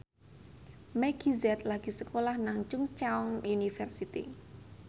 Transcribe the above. Meggie Z lagi sekolah nang Chungceong University